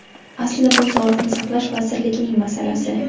Aslida bu Sog‘liqni saqlash vazirligining masalasi.